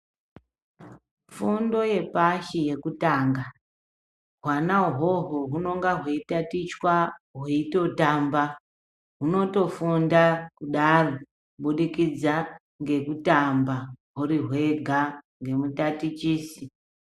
Fundo yepashi yekutanga hwano uhoho hunonga hwei tatichwa hweitotamba hunotofunda kudaro kubidikidza ngekutamba huri hwega ngemutatichisi.